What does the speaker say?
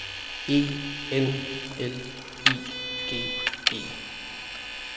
E N L I G E